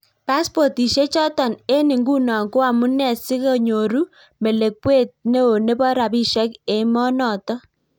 Paspotisiek chotok eng ingunoo ko amunee sikonyoruu melekweet neo nepo rapisiek emoo notok